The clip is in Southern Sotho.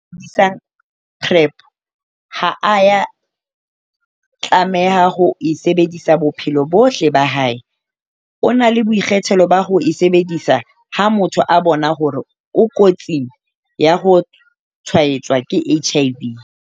PrEP ha a ya tlameha ho e sebedisa bophelo bohle ba hae, o na le boikgethelo ba ho e sebedisa ha motho a bona hore o kotsing ya ho tshwaetswa ke HIV.